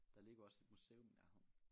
Der ligger også et museum i nærheden